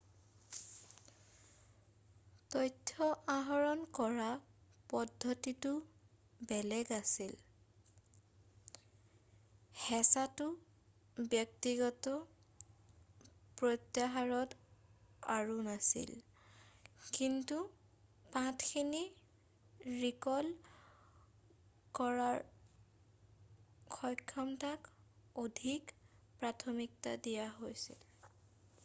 তথ্য আহৰণ কৰা পদ্ধতিটো বেলেগ আছিল হেঁচাটো ব্যক্তিগত প্ৰত্যাহাৰত আৰু নাছিল কিন্তু পাঠখিনি ৰিকল কৰাৰ সক্ষমতাক অধিক প্ৰাথমিকতা দিয়া হৈছিল